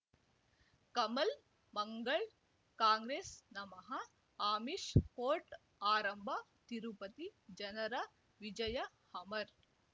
ಕಮಲ್ ಮಂಗಳ್ ಕಾಂಗ್ರೆಸ್ ನಮಃ ಅಮಿಷ್ ಕೋರ್ಟ್ ಆರಂಭ ತಿರುಪತಿ ಜನರ ವಿಜಯ ಅಮರ್